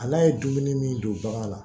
Ala ye dumuni min don bagan la